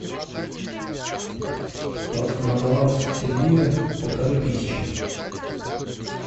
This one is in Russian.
на баланс сергея полторы тысячи